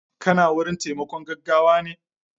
kana wurin taimakon gaggawane